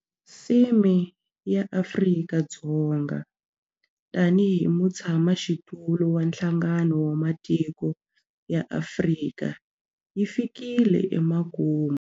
Theme ya Afrika-Dzonga tanihi mutshamaxitulu wa Nhlangano wa Matiko ya Afrika yi fikile emakumu.